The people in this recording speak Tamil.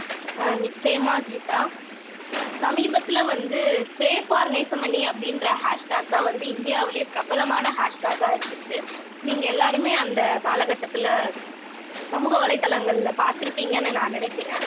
அஹ் நிச்சயமா கீதா சமீபத்துல வந்து pray for நேசமணி அப்படின்ற hashtag தான் வந்து இந்தியாவிலேயே பிரபலமான hashtag ஆ இருந்துச்சு நீங்க எல்லாருமே அந்த கால கட்டத்துல சமூக வலைத்தளங்கள்ல பார்த்திருப்பீங்கன்னு நான் நினைக்கிறேன்